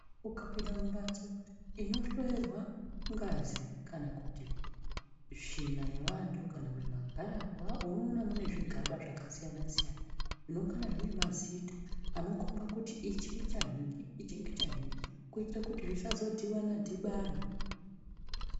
Ukapinda mumhasto inohloyera ngazi, kana kuti svina yeantu, kana kuti magararwa unoona muine zvigaba zvakasiyana-siyana, zvinongana zvine mazita anokomba kuti ichi ngechanhingi ichi ngechanhingi kuitira kuti zvisazodhibana-dhibana.